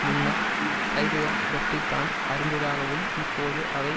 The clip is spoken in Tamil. முன்னர் கைதுகள் பற்றி தான் அறிந்ததாகவும் இப்போது அவை